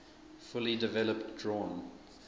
fully developed drawn